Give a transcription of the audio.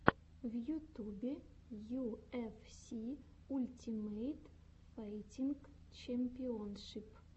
в ютюбе ю эф си ультимейт файтинг чемпионшип